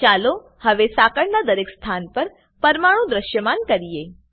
ચાલો હવે સકળના દરેક સ્થાન પર પરમાણુ દ્રશ્યમાન કરીએ